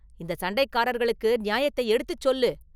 இந்தச் சண்டைக்காரர்களுக்கு நியாயத்தை எடுத்துச் சொல்லு!